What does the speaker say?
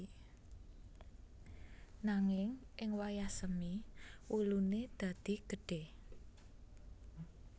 Nanging ing wayah semi wulune dadi gedhe